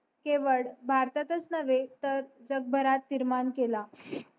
केवळ भारतातच नव्हे तर जग भारत निर्माण केला